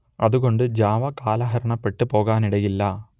അതുകൊണ്ട് ജാവ കാലഹരണപ്പെട്ട് പോകാനിടയില്ല